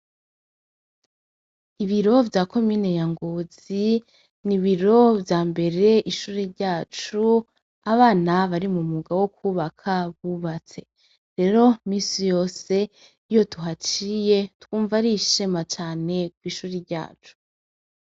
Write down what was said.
Ibiro vya komine ya ngozi ni ibiro vyambere ishure ryacu abana bari mu mwuga wo kwubaka bubatse rero misi yose iyo tuhaciye twumva ari ishema cane kwishure ryacu.